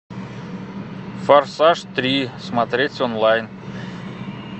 форсаж три смотреть онлайн